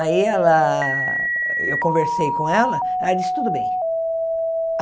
Aí ela... eu conversei com ela, ela disse tudo bem.